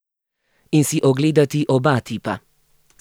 In si ogledati oba tipa.